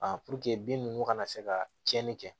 puruke bin ninnu kana se ka tiɲɛni kɛ